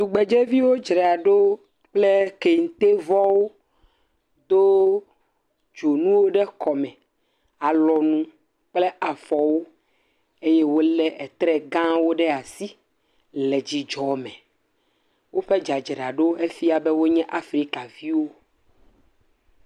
Tugbedzeviwo dzraɖo kple kentevɔwo, do dzonuwo ɖe kɔme, alɔnu kple afɔwo eye wolé tre gawo ɖe asi le dzidzɔ me. Woƒe dzradzraɖo fiã be wonye afrikaviwo.